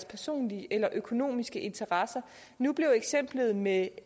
personlige eller økonomiske interesser nu blev eksemplet med